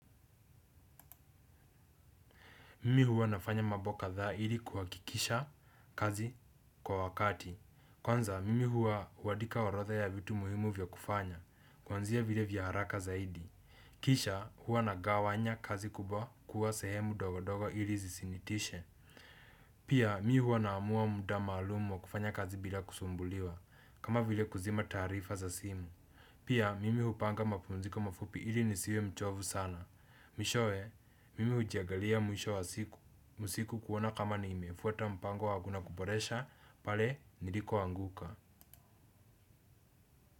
Mimi huwa nafanya mambo kadhaa ili kuhakikisha kazi kwa wakati. Kwanza, mimi huandika orodha ya vitu muhimu vya kufanya. Kwanzia vile vya haraka zaidi. Kisha, huwa nagawanya kazi kubwa kuwa sehemu ndogo ndogo ili zisinitishe. Pia, mi huwa naamua muda maalum wa kufanya kazi bila kusumbuliwa. Kama vile kuzima tarifa za simu. Pia, mimi hupanga mapumziko mafupi ili nisiwe mchovu sana. Mwishowe, mimi huijangalia mwisho wa siku kuona kama nimefuata mpango wangu na kuboresha pale nilikoanguka.